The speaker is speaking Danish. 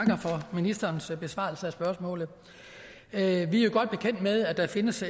ministerens besvarelse af spørgsmålet vi er jo godt bekendt med at der findes